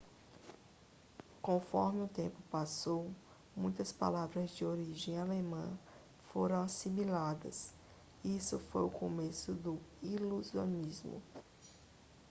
conforme o tempo passou muitas palavras de origem alemã foram assimiladas isso foi o começo do iluminismo